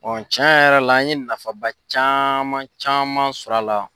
can yɛrɛ la an ye nafaba caman caman sɔrɔ a la.